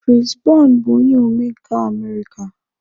Chris Brown bụ onye omenkà America.